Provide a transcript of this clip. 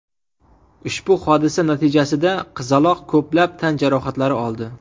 Ushbu hodisa natijasida qizaloq ko‘plab tan jarohatlari oldi.